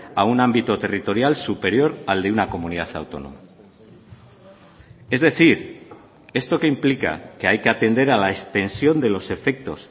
a un ámbito territorial superior al de una comunidad autónoma es decir esto qué implica que hay que atender a la extensión de los efectos